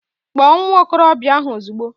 Kpọọ nwa okorobịa ahụ ozugbo